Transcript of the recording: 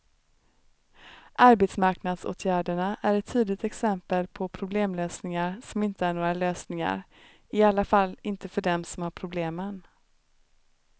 Arbetsmarknadsåtgärderna är ett tydligt exempel på problemlösningar som inte är några lösningar, i alla fall inte för dem som har problemen.